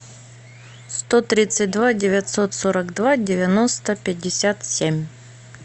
сто тридцать два девятьсот сорок два девяносто пятьдесят семь